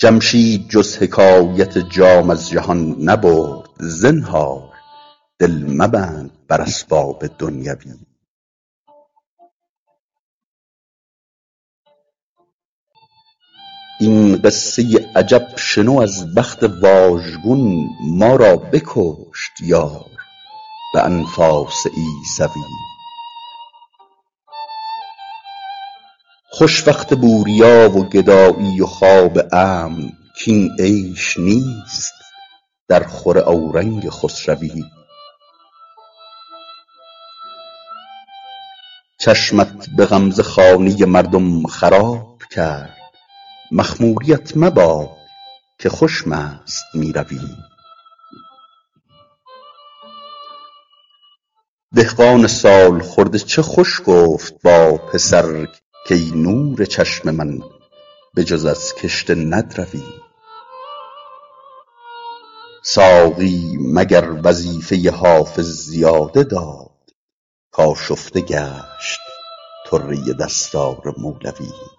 جمشید جز حکایت جام از جهان نبرد زنهار دل مبند بر اسباب دنیوی این قصه عجب شنو از بخت واژگون ما را بکشت یار به انفاس عیسوی خوش وقت بوریا و گدایی و خواب امن کاین عیش نیست درخور اورنگ خسروی چشمت به غمزه خانه مردم خراب کرد مخموریـت مباد که خوش مست می روی دهقان سال خورده چه خوش گفت با پسر کای نور چشم من به جز از کشته ندروی ساقی مگر وظیفه حافظ زیاده داد کآشفته گشت طره دستار مولوی